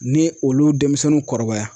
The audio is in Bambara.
Ni olu denmisɛnninw kɔrɔbaya.